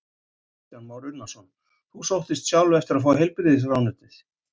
Kristján Már Unnarsson: Þú sóttist sjálf eftir að fá heilbrigðisráðuneytið?